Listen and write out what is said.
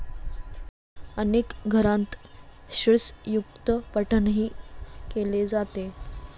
अनेक घरांत श्रीसयुक्तपठणही केले जाते.